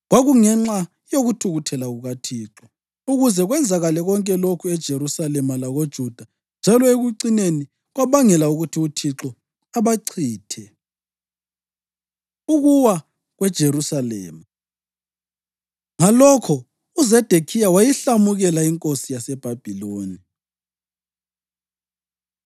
Kwakungenxa yokuthukuthela kukaThixo ukuze kwenzakale konke lokhu eJerusalema lakoJuda, njalo ekucineni kwabangela ukuthi uThixo abachithe. Ukuwa KweJerusalema Ngalokho uZedekhiya wayihlamukela inkosi yaseBhabhiloni.